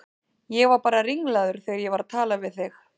Ég var bara ringlaður þegar ég var að tala við þig.